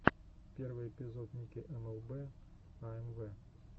первый эпизод ники эмэлбэ аэмвэ